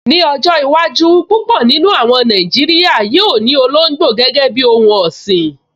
Ní ọjọ́ iwájú, púpọ̀ nínú àwọn Nàìjíríyà yóò ní olóngbò gẹ́gẹ́ bíi ohun ọ̀sìn